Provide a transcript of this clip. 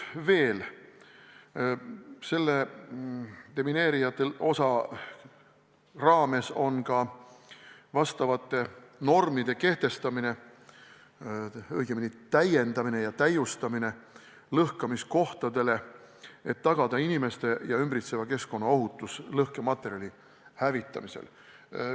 Selle demineerijate osa raames on ka vastavate normide kehtestamine, õigemini täiendamine ja täiustamine lõhkamiskohtadele, et tagada inimeste ja ümbritseva keskkonna ohutus lõhkematerjali hävitamisel.